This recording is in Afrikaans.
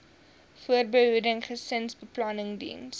voorbehoeding gesinsbeplanning diens